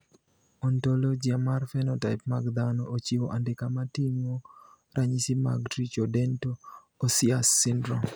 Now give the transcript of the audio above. Ontologia mar phenotype mag dhano ochiwo andika moting`o ranyisi mag Tricho dento osseous syndrome.